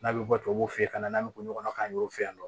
N'a bɛ bɔ tubabuw fɛ ye ka na n'an bɛ bɔ ɲɔgɔn na k'an y'o fɛ yan nɔ